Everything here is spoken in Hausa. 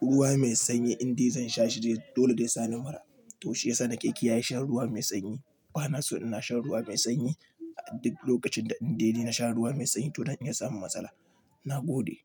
ruwa mai sanyi in dai zan sha shi dole zai sani mura. To shiyasa na ke kiyaye shan ruwa mai sanyi. Ba na so ina shan ruwa mai sanyi a duk lokacin da in dai na sha ruwa mai sanyi to zan iya samun matsala. Nagode.